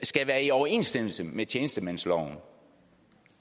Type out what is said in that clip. skal være i overensstemmelse med tjenestemandsloven